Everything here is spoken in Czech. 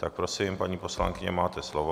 Tak, prosím, paní poslankyně, máte slovo.